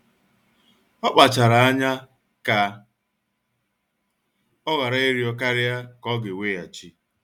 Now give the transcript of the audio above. Ọ kpachara anya ka ọ ghara ịrịọ karịa ka ọ ga-weghachi